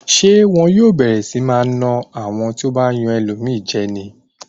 Ṣé wọn yóò bẹ̀rẹ̀ sí máa na àwọn tí ó bá yan ẹlòmíràn jẹ ni?